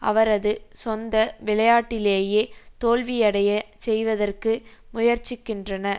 அவரது சொந்த விளையாட்டிலேயே தோல்வியடையச் செய்வதற்கு முயற்சிக்கின்றன